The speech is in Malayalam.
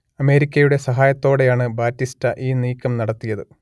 അമേരിക്കയുടെ സഹായത്തോടെയാണ് ബാറ്റിസ്റ്റ ഈ നീക്കം നടത്തിയത്